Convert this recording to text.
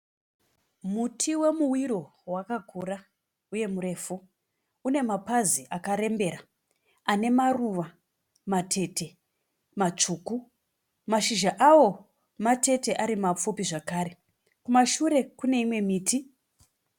Muti wemuwiro wakakura uye murefu. Une mapazi akarembera ane maruva matete matsvuku. Mashizha awo matete ari mapfupi zvakare. Kumashure kune mimwe miti.